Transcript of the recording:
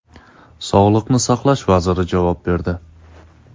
Sog‘liqni saqlash vaziri javob berdi.